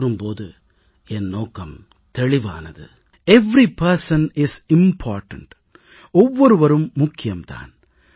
என்று கூறும் போது என் நோக்கம் தெளிவானது எவரி பர்சன் இஸ் இம்பார்ட்டன்ட் ஒவ்வொருவரும் முக்கியம் தான்